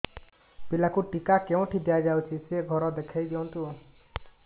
ପିଲାକୁ ଟିକା କେଉଁଠି ଦିଆଯାଉଛି ସେ ଘର ଦେଖାଇ ଦିଅନ୍ତୁ